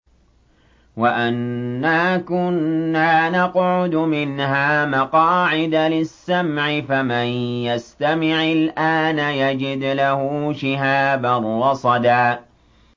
وَأَنَّا كُنَّا نَقْعُدُ مِنْهَا مَقَاعِدَ لِلسَّمْعِ ۖ فَمَن يَسْتَمِعِ الْآنَ يَجِدْ لَهُ شِهَابًا رَّصَدًا